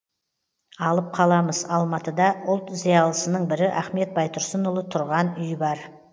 алып қаламыз алматыда ұлт зиялысының бірі ахмет байтұрсынұлы тұрған үй бар